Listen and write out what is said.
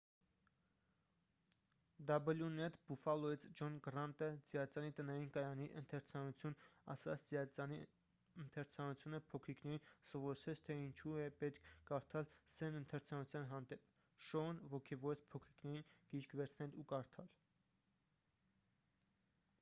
wned բուֆֆալոյից ջոն գռանտը ծիածանի տնային կայանի ընթերցանություն ասաց «ծիածանի ընթերցանությունը փոքրիկներին սովորեցրեց թե ինչու է պետք կարդալ,... սերն ընթերցանության հանդեպ — [շոուն] ոգևորեց փոքրիկներին գիրք վերցնել ու կարդալ»։